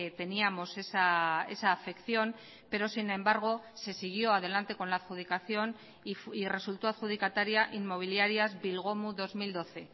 teníamos esa afección pero sin embargo se siguió adelante con la adjudicación y resultó adjudicataria inmobiliarias bilgomu dos mil doce